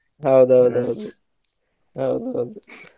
ಹೌದ ಹೌದ ಹೌದು ಹೌದ ಹೌದು